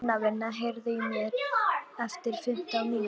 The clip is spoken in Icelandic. Sunniva, heyrðu í mér eftir fimmtán mínútur.